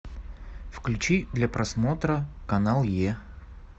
включи для просмотра канал е